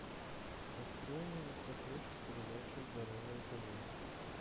открой мне на смотрешке передачу здоровое тв